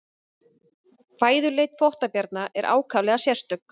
Fæðuleit þvottabjarna er ákaflega sérstök.